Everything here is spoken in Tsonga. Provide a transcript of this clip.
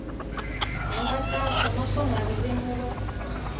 hi nkhaqato naswona ririmi ro